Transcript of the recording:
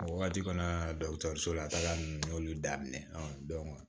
A wagati kɔnɔna na la taga nunnu n y'olu daminɛ ɔ